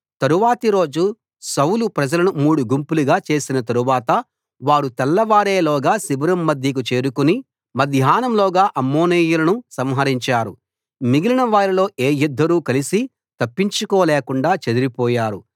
తరువాతి రోజు సౌలు ప్రజలను మూడు గుంపులుగా చేసిన తరువాత వారు తెల్లవారేలోగా శిబిరం మధ్యకు చేరుకుని మధ్యాహ్నంలోగా అమ్మోనీయులను సంహరించారు మిగిలిన వారిలో ఏ ఇద్దరూ కలసి తప్పించుకోలేకుండా చెదరిపోయారు